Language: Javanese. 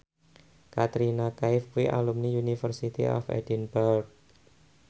Katrina Kaif kuwi alumni University of Edinburgh